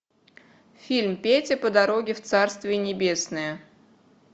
фильм петя по дороге в царствие небесное